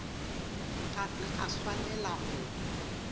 ga se a swanela go